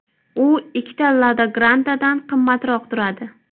U ikkita Lada Granta’dan qimmatroq turadi.